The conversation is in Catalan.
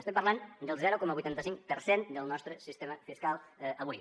estem parlant del zero coma vuitanta cinc per cent del nostre sistema fiscal avui